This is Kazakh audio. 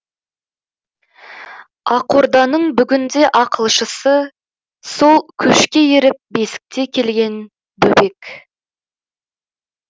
ақорданың бүгінде ақылшысы сол көшке еріп бесікте келген бөбек